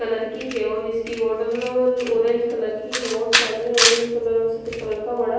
colour की है और इसकी ऑरेंज कलर की है और सामने ऑरेंज कलर और सफ़ेद कलर का बड़ा--